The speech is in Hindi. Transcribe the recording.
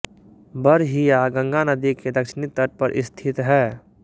बड़हिया गंगा नदी के दक्षिणी तट पर स्थित है